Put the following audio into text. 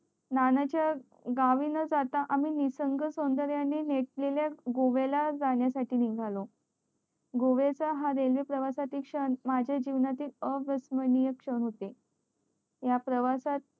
नाना च्या गावी न जाता आम्ही निसर्ग सौंदर्याने नसलेल्या गोव्याला जाण्या साठी निगालो गोव्या च्या हा रेल्वे प्रवासा पेक्षा माझ्या जीवनातील अविसर्नीय क्षण होते या प्रवासात